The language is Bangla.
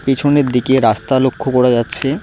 পিছনের দিকে রাস্তা লক্ষ্য করা যাচ্ছে।